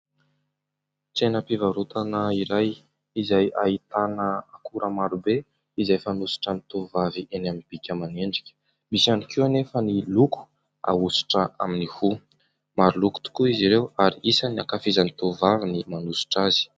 Tsenam-pivarotana iray izay ahitana akora marobe izay fanosotry ny tovovavy eny amin'ny bika aman'endrika. Misy ihany koa nefa ny loko ahosotra amin'ny hoho. Maro loko tokoa izy ireo ary isan'ny ankafizin'ny tovovavy ny manosotra azy.